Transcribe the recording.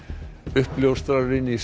uppljóstrarinn í